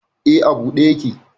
E, a buɗe yake.